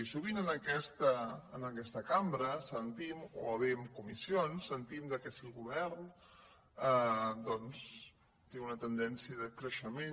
i sovint en aques·ta cambra o bé en comissions sentim que si el govern doncs té una tendència de creixement